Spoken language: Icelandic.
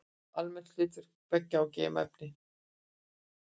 Almennt er hlutverk beggja að geyma efni.